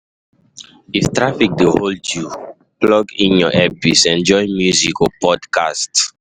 If traffic dey hold you, plug in your earpiece, enjoy music or podcast.